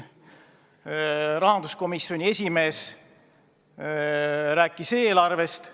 Rahanduskomisjoni esimees rääkis eelarvest.